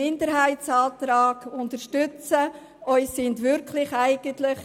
Bitte unterstützen Sie den Minderheitsantrag.